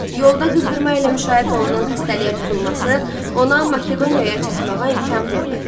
Yolda qızdırma ilə müşayiət olunan xəstəliyə tutulması ona Makedoniyaya çatmağa imkan vermədi.